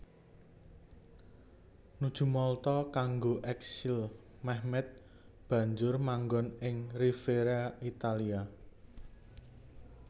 Nuju Malta kanggo eksil Mehmed banjur manggon ing Riviera Italia